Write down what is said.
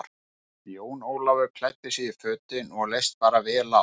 Jón Ólafur klæddi sig í fötin og leist bara vel á.